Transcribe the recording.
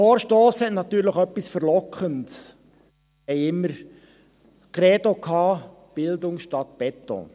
Wir hatten immer das Credo «Bildung statt Beton».